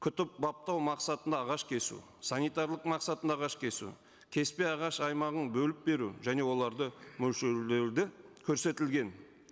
күтіп баптау мақсатында ағаш кесу санитарлық мақсатында ағаш кесу кеспе ағаш аймағын бөліп беру және оларды мөлшерлеуі де көрсетілген